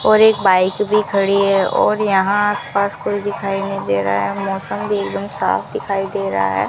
और एक बाइक भी खड़ी है और यहां आस पास कोई दिखाई नहीं दे रहा है मौसम भी एक दम साफ दिखाई दे रहा है।